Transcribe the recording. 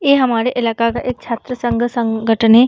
ये हमरे इलाका का एक छात्र संघ संगठन है।